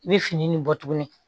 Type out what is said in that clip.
I bɛ fini nin bɔ tuguni